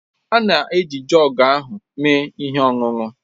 Anyị na-eji joọg ahụ mee ihe ọṅụṅụ